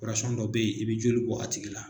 dɔ be ye i be joli bɔ a tigi la